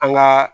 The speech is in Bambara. An ka